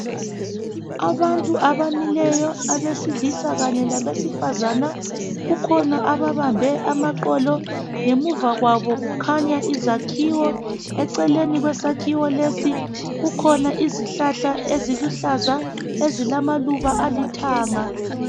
Abantu abamiyo abesilisa kanye labesifazana kukhona ababambe amaqolo ngemuva kwabo kukhanya izakhiwo eceleni kwesakhiwo lesi kukhona isihlahla esiluhlaza esilamaluba alithanga